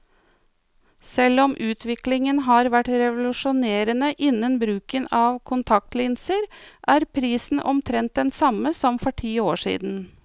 Selv om utviklingen har vært revolusjonerende innen bruken av kontaktlinser, er prisen omtrent den samme som for ti år siden.